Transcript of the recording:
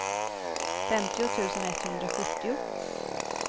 femtio tusen etthundrasjuttio